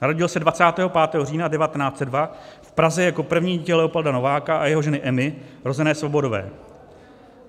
Narodil se 25. října 1902 v Praze jako první dítě Leopolda Nováka a jeho ženy Emy, rozené Svobodové.